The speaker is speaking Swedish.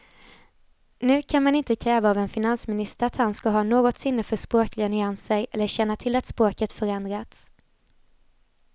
Nu kan man inte kräva av en finansminister att han ska ha något sinne för språkliga nyanser eller känna till att språket förändrats.